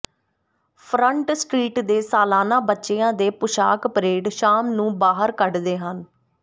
front street ਦੇ ਸਾਲਾਨਾ ਬੱਚਿਆਂ ਦੇ ਪੁਸ਼ਾਕ ਪਰੇਡ ਸ਼ਾਮ ਨੂੰ ਬਾਹਰ ਕੱਢਦੇ ਹਨ